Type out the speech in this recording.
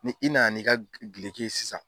Ni i nana n'i ka gileki ye sisan.